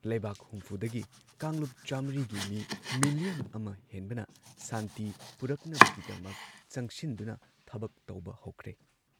ꯂꯩꯕꯥꯛ ꯍꯨꯝꯐꯨꯗꯒꯤ ꯀꯥꯡꯂꯨꯞ ꯆꯥꯃ꯭ꯔꯤꯒꯤ ꯃꯤ ꯃꯤꯂꯤꯌꯟ ꯑꯃ ꯍꯦꯟꯕꯅ ꯁꯥꯟꯇꯤ ꯄꯨꯔꯛꯅꯕꯒꯤꯗꯃꯛ ꯆꯪꯁꯤꯟꯗꯨꯅ ꯊꯕꯛ ꯇꯧꯕ ꯍꯧꯈ꯭ꯔꯦ ꯫